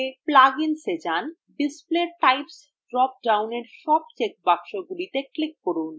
display types drop down এর সব check বক্সগুলিতে click করুন